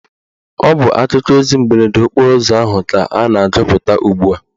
Ọ bụ akụkọ ozi mberede okporo ụzọ ahụ ka a na-agụpụta ugbua